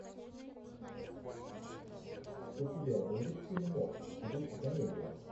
у тебя будет фильмок в духе комедия